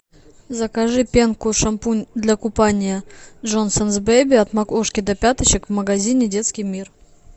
закажи пенку шампунь для купания джонсонс бейби от макушки до пяточек в магазине детский мир